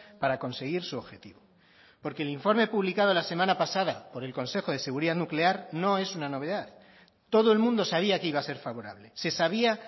para conseguir su objetivo porque el informe publicado la semana pasada por el consejo de seguridad nuclear no es una novedad todo el mundo sabía que iba a ser favorable se sabía